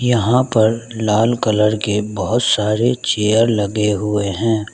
यहां पर लाल कलर के बहुत सारे चेयर लगे हुए हैं।